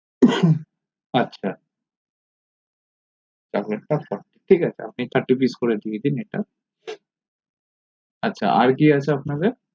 আচ্ছা chocolate টা forty ঠিক আছে আপনে thirty pice করে দিয়ে দিন এটা আচ্ছা আর কি আছে আপনাদের